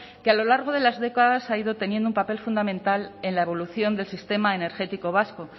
que a lo largo de las décadas ha ido teniendo un papel fundamental en la evolución del sistema energético vasco